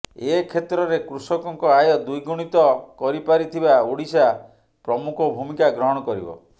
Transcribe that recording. ଏ କ୍ଷେତ୍ରରେ କୃଷକଙ୍କ ଆୟ ଦ୍ୱିଗୁଣିତ କରିପାରିଥିବା ଓଡ଼ିଶା ପ୍ରମୁଖ ଭୂମିକା ଗ୍ରହଣ କରିବ